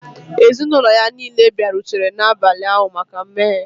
Ezinụlọ ya niile bịarutere n'abalị ụnyahụ maka mmeghe.